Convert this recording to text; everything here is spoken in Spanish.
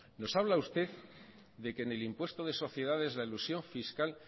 nos habla usted de que en el impuesto de sociedades la elusión fiscal